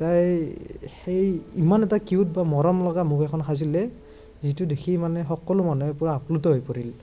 তাই সেই ইমান এটা cute বা মৰমলগা মুখ এখন সাজিলে, যিটো দেখি মানে সকলো মানুহে পূৰা আপ্লুত হৈ পৰিল।